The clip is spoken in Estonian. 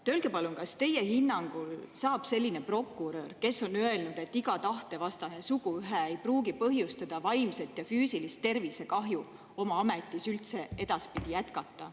Öelge palun, kas teie hinnangul saab selline prokurör, kes on öelnud, et iga tahtevastane suguühe ei pruugi põhjustada vaimset ja füüsilist tervisekahju, oma ametis üldse edaspidi jätkata.